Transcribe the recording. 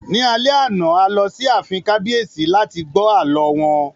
Ní alẹ́ àná, a lọ sí ààfin kábíyèsí láti gbọ́ àlọ́ wọn